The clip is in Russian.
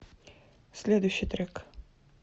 следующий трек